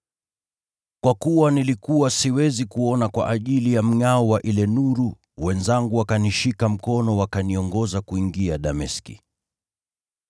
Kwa kuwa nilikuwa siwezi kuona kwa ajili ya mngʼao wa ile nuru, wenzangu wakanishika mkono wakaniongoza kuingia Dameski.